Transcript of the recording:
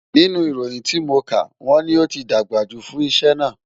Nínú ìròyìn tí mo kà, wọ́n ní ó ti dàgbà jù fún iṣẹ́ náà